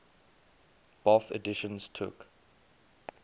bofh editions took